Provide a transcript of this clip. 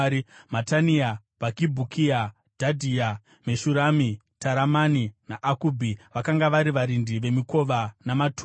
Matania Bhakibhukia, Dhadhia, Meshurami, Taramani, naAkubhi vakanga vari varindi vemikova namatura.